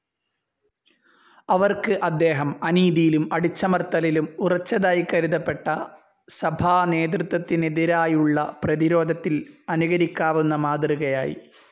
അവർക്ക് അദ്ദേഹം, അനീതിയിലും അടിച്ചമർത്തലിലും ഉറച്ചതായി കരുതപ്പെട്ട സഭാനേതൃത്വത്തിനെതിരായുള്ള പ്രതിരോധത്തിൽ അനുകരിക്കാവുന്ന മാതൃകയായി.